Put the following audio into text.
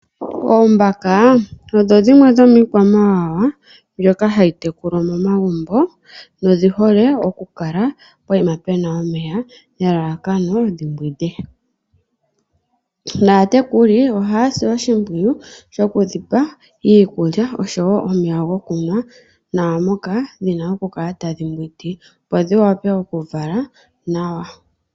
Oombaka odho dhimwe dhomiikwamawawa mbyoka hayi tekulwa momagumbo nodhi hole oku kala pokuma puna omeya nelalakano dhimbwinde, naatekuli ohaya si oshimpwiyu shokudhipa iikulya nomeya gokunwa naamoka dhina oku kala tadhi mbwindi, opo dhi wape oku kala tadhi vala nawa.